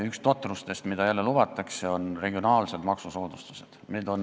Üks totrustest, mida jälle lubatakse, on regionaalsed maksusoodustused.